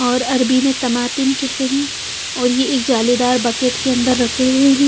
और अरबी में तमातिम कहते है और ये एक जालीदार बकेट के अंदर रखे हुए है ।